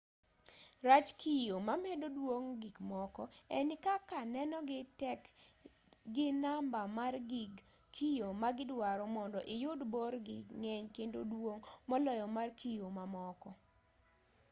rach kiyo mamedo duong' gikmoko en ni kaka nenogi tek gi namba mar gig kiyo ma gidwaro mondo iyud borgi ng'eny kendo duong' moloyo mar kiyo mamoko